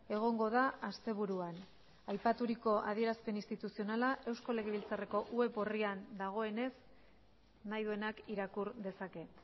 egongo da asteburuan aipaturiko adierazpen instituzionala eusko legebiltzarreko web orrian dagoenez nahi duenak irakur dezake